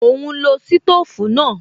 Mò ún lo sítòfù náà